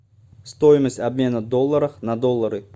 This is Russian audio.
стоимость обмена долларов на доллары